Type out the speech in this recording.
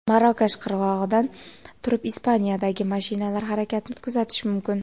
Marokash qirg‘og‘idan turib Ispaniyadagi mashinalar harakatini kuzatish mumkin.